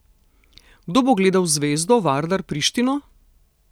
Kdo bo gledal Zvezdo, Vardar, Prištino?